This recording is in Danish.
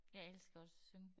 Jeg elsker også at synge